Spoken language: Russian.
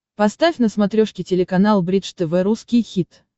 поставь на смотрешке телеканал бридж тв русский хит